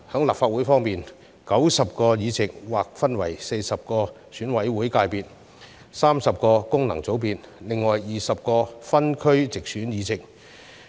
立法會方面 ，90 個議席劃分為40席由選委會界別選出、30席由功能界別選出，另有20席為分區直選議席。